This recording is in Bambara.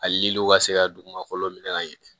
Aliw ka se ka dugumakolo minɛ ka ɲɛ